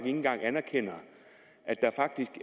engang anerkender